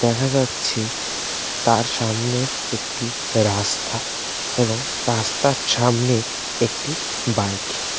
দেখা যাচ্ছে তার সামনে একটি রাস্তা এবং রাস্তার সামনে একটি বাইক ।